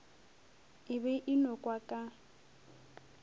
e be e nokwa ka